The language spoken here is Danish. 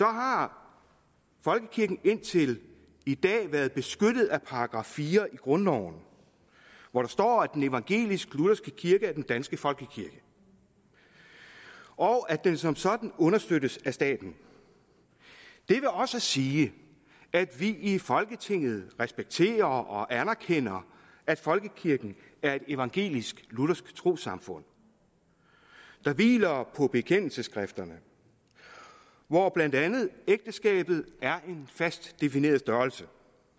har folkekirken indtil i dag været beskyttet af § fire i grundloven hvor der står at den evangelisk lutherske kirke er den danske folkekirke og at den som sådan understøttes af staten det vil også sige at vi i folketinget respekterer og anerkender at folkekirken er et evangelisk luthersk trossamfund der hviler på bekendelsesskrifterne hvor blandt andet ægteskabet er en fast defineret størrelse